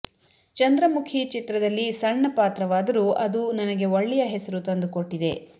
ಚಂದ್ರಮುಖಿ ಚಿತ್ರದಲ್ಲಿ ಸಣ್ಣ ಪಾತ್ರವಾದರೂ ಅದು ನನಗೆ ಒಳ್ಳೆಯ ಹೆಸರು ತಂದುಕೊಟ್ಟಿದೆ